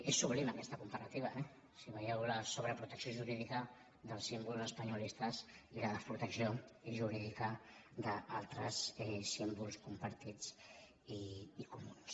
és sublim aquesta comparativa eh si veieu la sobreprotecció jurídica dels símbols espanyolistes i la desprotecció jurídica d’altres símbols compartits i comuns